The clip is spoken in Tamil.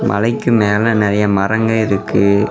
மலைக்கு மேலே நறைய மரங்கள் இருக்கு.